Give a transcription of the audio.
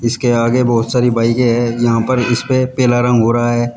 इसके आगे बहोत सारी बाइकें है यहां पर इस पे पीला रंग हो रहा है।